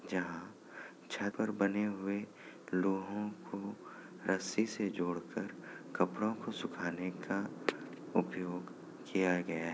जहाँ छत पर बने हुए लोहों को रस्सी से जोड़ कर कपड़ो को सुखाने का उपयोग किया गया है।